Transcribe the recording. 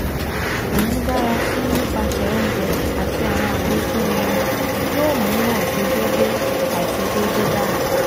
Imudarasi nipasẹ ounjẹ ati awọn afikun irin yoo mu aiṣedede aiṣedede dara